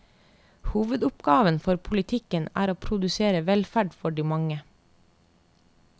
Hovedoppgaven for politikken er å produsere velferd for de mange.